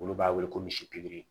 Olu b'a wele ko misi piri